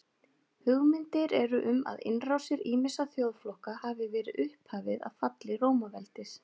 Hugmyndir eru um að innrásir ýmissa þjóðflokka hafi verið upphafið að falli Rómaveldis.